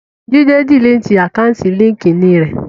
Jídé diliti àkáùntì líńki-inì rẹ̀